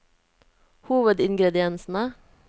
hovedingrediensene